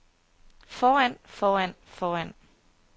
foran foran foran